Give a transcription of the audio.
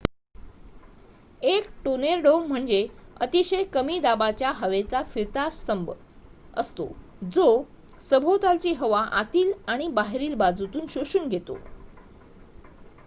एक टोर्नेडो म्हणजे अतिशय कमी दाबाच्या हवेचा फिरता स्तंभ असतो जो सभोवतालची हवा आतील आणि बाहेरील बाजूतून शोषून घेतो